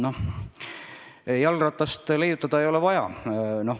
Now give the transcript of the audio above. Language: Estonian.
No jalgratast leiutada ei ole vaja.